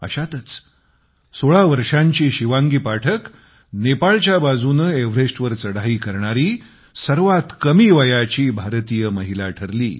अशातच सोळा वर्षांची शिवांगी पाठक नेपाळच्या बाजूने एव्हरेस्टवर चढाई करणारी सर्वात कमी वयाची भारतीय महिला ठरली